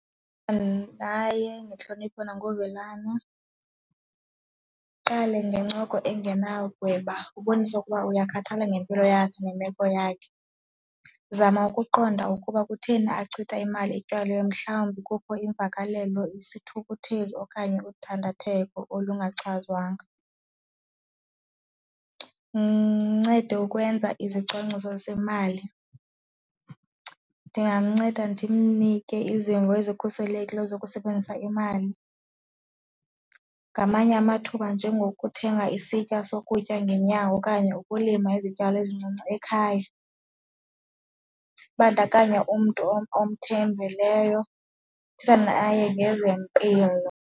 Aye ngentlonipho na ngovelwano, qale ngencoko engenagweba ubonise ukuba uyakhathala ngempilo yakhe nemeko yakhe. Zama ukuqonda ukuba kutheni achithe imali etywaleni mhlawumbi kukho imvakalelo, isithukuthezi okanye udandatheko olungachazwanga. Ndincede ukwenza izicwangciso zemali, ndingamnceda ndimnike izimvo ezikhuselekileyo zokusebenzisa imali. Ngamanye amathuba njengokuthenga isitya sokutya ngeenyawo okanye ukulima izityalo ezincinci ekhaya. Ibandakanya umntu omthembileyo, thetha naye ngezempilo.